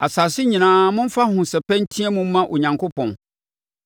Asase nyinaa momfa ahosɛpɛ nteam mma Onyankopɔn!